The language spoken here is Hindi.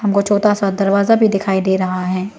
वो छोटा सा दरवाजा भी दिखाई दे रहा है।